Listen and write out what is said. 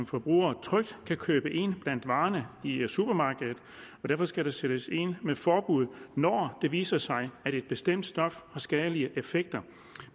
forbrugerne trygt kan købe ind blandt varerne i i supermarkedet derfor skal der sættes ind med et forbud når det viser sig at et bestemt stof har skadelige effekter